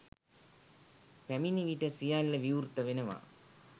පැමිණි විට සියල්ල විවෘත වෙනවා.